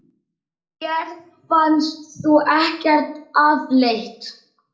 Mér fannst þú ekkert afleit!